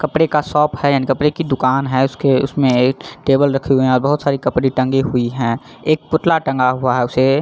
कपड़े का शॉप है एंड कपड़े का दूकान है उसमे उनमे एक टेबल रखी हुई है और बहुत सारी कपड़े टंगा हुई है एक पुतला टंगा हुआ है उसे --